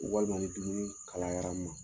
Walima ni dumuni kalayara n ma.